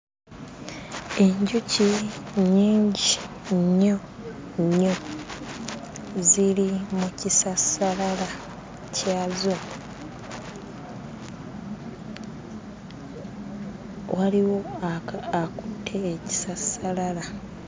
Enjuki nnyingi nnyo nnyo ziri mu kisassalala kyazo waliwo aka akutte ekisassalala.